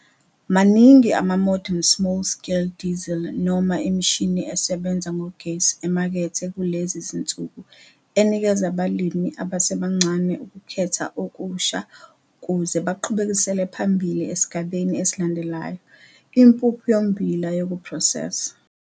Maningi ama-modern small-scale diesel noma imishini esebenza ngogesi emakethe kulezi zinsuku enikeza abalimi abasebancane ukukhetha okusha ukuze baqhubekisele phambili esigabeni esilandlayo - impuphu yommbila sokuphrosesa.